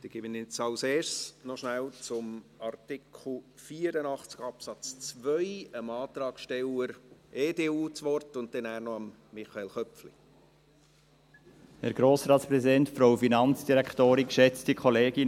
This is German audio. Dann gebe ich zuerst noch dem Antragssteller der EDU das Wort zu Artikel 84 Absatz 2 und danach noch Michael Köpfli.